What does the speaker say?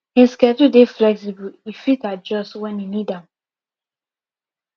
him schedule dey flexible e fit adjust wen he need am